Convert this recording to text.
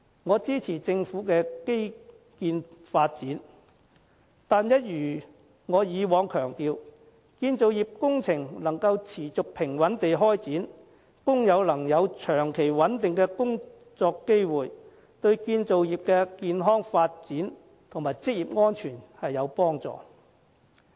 我支持政府的基建發展，但一如我以往強調，建造業工程能夠持續平穩地展開，工友能有長期穩定的工作機會，對建造業的健康發展和職業安全都有幫助。